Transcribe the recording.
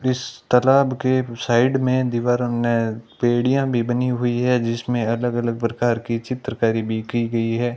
इस तालाब के साइड में दीवारों में बेड़िया भी बनी हुई है जिसमें अलग अलग प्रकार की चित्रकारी भी की गई है।